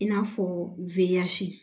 I n'a fɔ wiyasi